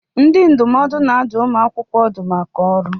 Ndị ndụmọdụ na-adụ ụmụ akwụkwọ ọdụ maka ọrụ.